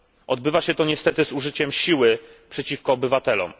Odbywa się to niestety z użyciem siły przeciwko obywatelom.